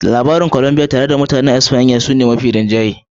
Labarin Colombia ta bayyana tare da Mutanen Espanya shine yare mafi rinjaye